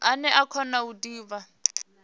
ane a kona u divha